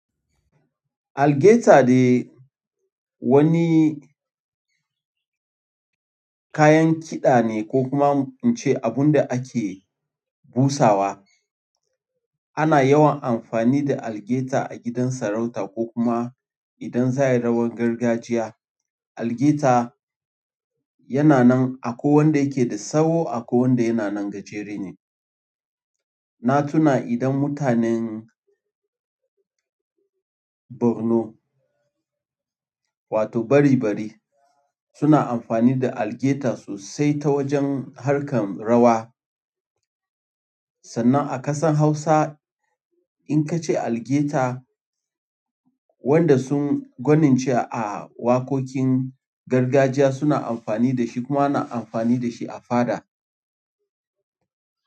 Algaita dai wani kayan kiɗa ne ko kuma in ce abunda ake busawa. Ana yawan amfani da algaita a gidan sarauta ko kuma idan za a yi rawar gargajiya. Algaita yana nan akwai wanda yake da tsawo akwai wanda yana nan gajere ne. Na tuna idan mutanen Borno wato Bare-Bari suna amfani da algaita sosai ta wajen harkar rawa. Sannan a ƙasan Hausa in ka ce algaita, wanda sun gwanance a waƙoƙin gargajiya suna amfani da shi kuma ana amfani da shi a faɗa.